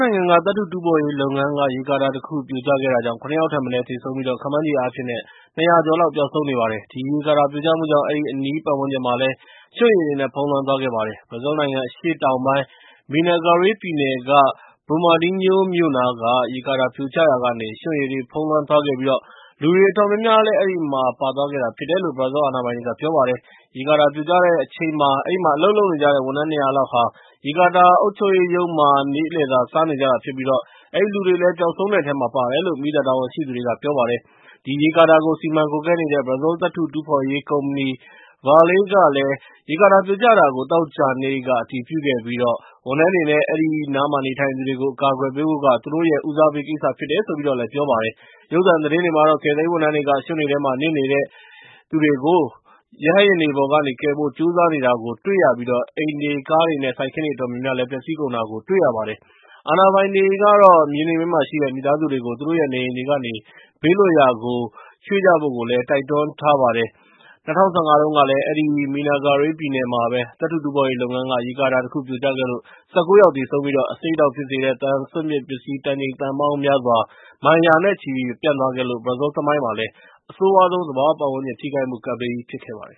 နိုင်ငံ သတ္တုတူးဖော်ရေးလုပ်ငန်း ရေကာတာတခုပြိုကျခဲ့တာကြောင့် ၉ ယောက်ထက်မနည်း သေဆုံးပြီး ခန့်မှန်းခြေအားဖြင့်၃၀၀ ကျော်လောက် ပျောက်ဆုံးနေပါ တယ်။ ဒီရေကာတာပြိုကျမှုကြောင့် အဲဒီအနီး ပတ်ဝန်းကျင်မှာလည်း ရွှံရေတွေနဲ့ ဖုံးလွှမ်းသွားခဲ့ပါတယ်။ ဘရာဇီးနိုင်ငံအရှေ့တောင်ပိုင်း Minas Gerais ပြည်နယ်က Brumadinho မြို့နားက ရေကာတာပြိုကျရာကနေ ရွှံ့ရေတွေနဲ့ ဖုံးလွှမ်းပြီး လူတွေအတော်များများလည်း အဲဒီမှာ ပါသွားတာဖြစ်တယ်လို့ ဘရာဇီးအာဏာပိုင်တွေ က ပြောပါတယ်။ ရေကာတာပြိုကျချိန်မှာ အဲဒီမှာ အလုပ်လုပ်နေကြတဲ့ ဝန်ထမ်း ၂၀၀ လောက်ဟာ ရေကာတာ ရဲ့ အုပ်ချုပ်ရေးရုံးမှာ နေ့လယ်စာစားနေကြတာဖြစ်ပြီး အဲဒီလူတွေလည်း ပျောက်ဆုံးတဲ့အထဲမှာ ပါတယ်လို့ မီးသတ်တာဝန်ရှိသူတွေက ပြောပါတယ်။ ဒီရေကာတာကို စီမံကွပ်ကဲနေတဲ့ ဘရာဇီးသတ္တုတူးဖော်ရေးကုမ္ပဏီ Vale ကလည်း ရေကာတာပြိုကျတာကို သောကြာနေ့က အတည်ပြုခဲ့ပြီး ဝန်ထမ်းတွေနဲ့ အဲဒီနားမှာ နေထိုင်သူတွေကို အကာအကွယ်ပေးဖို့က သူတို့ရဲ့ ဦးစားပေးကိစ္စဖြစ်တယ်လို့ ပြောကြားလိုက်ပါတယ်။ ရုပ်သံသတင်းတွေမှာတော့ ကယ်ဆယ်ရေးဝန်ထမ်းတွေက ရွှံတွေထဲမှာ နစ်နေတဲ့သူတွေကို ရဟတ်ယာဉ်တွေပေါ်ကနေ ကယ်ဖို့ ကြိုးစားနေကြတာကို တွေ့ရသလို အိမ်တွေ၊ ကားတွေနဲ့ စိုက်ခင်းတွေ အတော်များများလည်း ပျက်စီးကုန်တာကို တွေ့ရပါတယ်။ အာဏာပိုင်တွေကတော့ မြေနိမ့်ပိုင်းမှာ ရှိနေတဲ့ မိသားစုတွေကို သူတို့ရဲ့ အိမ်တွေကနေ ဘေးလွတ်ရာကို ရွှေ့ကြဖို့ကို တိုက်တွန်းထားပါတယ်။ ၂၀၁၅ တုန်းကလည်း အဲဒီ Minas Gerais ပြည်နယ်မှာပဲ သတ္တုတူး ဖော်ရေး လုပ်ငန်းက ရေကာတာတခုပြိုကျခဲ့လို့ ၁၉ ယောက်သေဆုံးခဲ့ပြီး အဆိပ်အတောက်ဖြစ်စေတဲ့ သံ စွန့်ပစ်ပစ္စည်း တန်ချိန်သန်းပေါင်းများစွာ မိုင်ရာနဲ့ချီပျံ့သွားခဲ့လို့ ဘရာဇီးသမိုင်းမှာ အဆိုးရွားဆုံး သဘာဝ ပတ်ဝန်းကျင် ထိခိုက်မှုကပ်ဘေးကြီးဖြစ်ခဲ့ပါတယ်